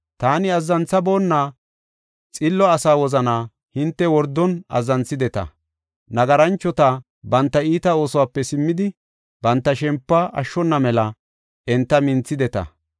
Taani azzanthaboonna xillo asaa wozanaa hinte wordon azzanthideta; nagaranchoti banta iita oosuwape simmidi, banta shempuwa ashshona mela enta minthideta.